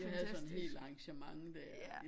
Jeg havde sådan et helt arrangement der